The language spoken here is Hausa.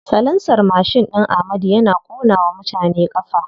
Salansar mashin ɗin amadu yana ƙona wa mutane ƙafa.